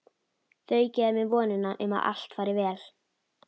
Þau gefa mér vonina um að allt fari vel.